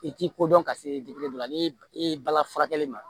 I t'i kodɔn ka se dɔ la ni i balala furakɛli ma